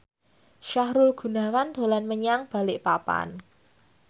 Sahrul Gunawan dolan menyang Balikpapan